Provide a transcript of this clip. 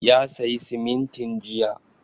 Ya sayi simintin jiya